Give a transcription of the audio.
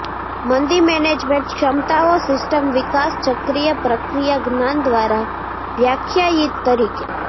મંદી મેનેજમેન્ટ ક્ષમતાઓ સિસ્ટમ વિકાસ ચક્રીય પ્રક્રિયા જ્ઞાન દ્વારા વ્યાખ્યાયિત તરીકે